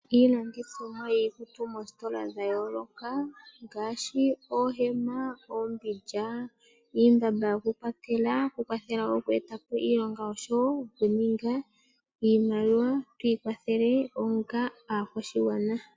Iilandithomwa yiikutu moositola dha yoloka. Ngaashi oohema, oompindja, iimbamba yoku kwatela. Oku kwathela oku eta po iilonga oshowo oku ninga iimaliwa twi ikwathele onga aakwashigwana.